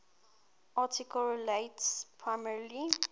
article relates primarily